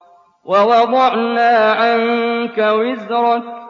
وَوَضَعْنَا عَنكَ وِزْرَكَ